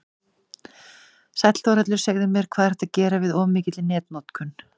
Sæll Þórhallur, segðu mér, hvað er hægt að gera við of mikilli netnotkun?